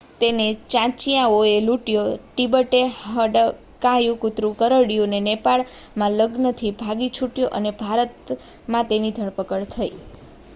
તેને ચાંચિયાઓએ લૂંટ્યો તિબેટમાં હડકાયું કૂતરું કરડ્યું તે નેપાળમાં લગ્નથી ભાગી છૂટ્યો અને ભારતમાં તેની ધરપકડ થઈ